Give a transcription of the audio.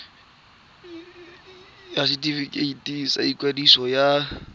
ya setefikeiti sa ikwadiso ya